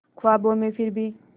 ख्वाबों में फिर भी